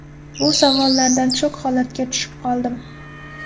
Bu savollardan shok holatiga tushib qoldim.